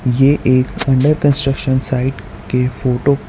ये एक under construction site के फोटो --